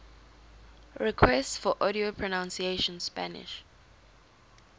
requests for audio pronunciation spanish